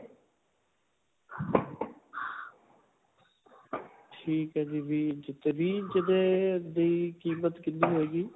ਠੀਕ ਹੈ ਜੀ. ਵੀਹ ਇੰਚ ਤੇ ਵੀਹ ਇੰਚ ਦੇ, ਦੀ ਕੀਮਤ ਕਿੰਨੀ ਹੋਏਗੀ?